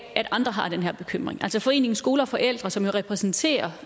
at andre har den her bekymring altså foreningen skole og forældre som jo repræsenterer